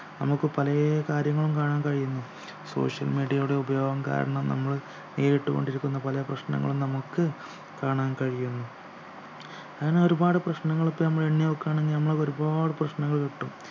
നമുക്ക് പലേ കാര്യങ്ങളും കാണാൻ കഴിയുന്നു social media യുടെ ഉപയോഗം കാരണം നമ്മൾ കേട്ടുകൊണ്ടിരിക്കുന്ന പല പ്രശ്നങ്ങളും നമുക്ക് കാണാൻ കഴിയുന്നു അങ്ങനെ ഒരുപാട് പ്രശ്നങ്ങൾ ഇപ്പോൾ നമ്മൾ എണ്ണി നോക്കുകയാണെങ്കിൽ നമ്മൾ ഒരുപാട് പ്രശ്നങ്ങൾ കിട്ടും